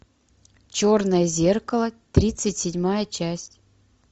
черное зеркало тридцать седьмая часть